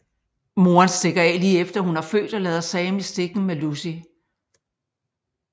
Moren stikker af lige efter hun har født og lader Sam i stikken med Lucy